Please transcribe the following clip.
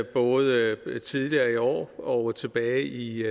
både tidligere i år og tilbage i